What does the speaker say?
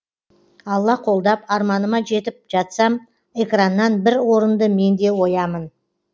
алла қолдап арманыма жетіп жатсам экраннан бір орынды менде оямын